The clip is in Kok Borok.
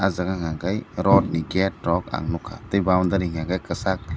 jaaga unka ke rot ni gate rok ang nugkha tei boundary unka ke kchak.